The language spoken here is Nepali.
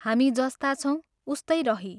हामी जस्ता छौं, उस्तै रहीं।